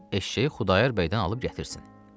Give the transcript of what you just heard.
gedib eşşəyi Xudayar bəydən alıb gətirsin.